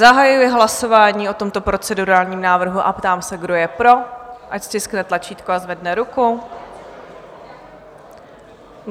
Zahajuji hlasování o tomto procedurálním návrhu a ptám se, kdo je pro, ať stiskne tlačítko a zvedne ruku.